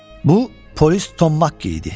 Bu polis Tom Makki idi.